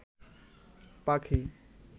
পাখি